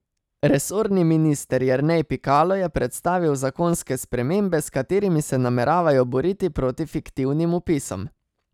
Resorni minister Jernej Pikalo je predstavil zakonske spremembe, s katerimi se nameravajo boriti proti fiktivnim vpisom.